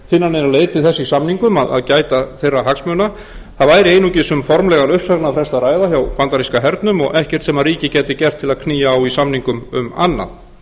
finna neina leið til þess í samningum gæta þeirra hagsmuna það væri einungis um formlegan uppsagnarfrest að ræða hjá bandaríska hernum og ekkert sem ríkið gæti gert til að knýja á í samningum um annað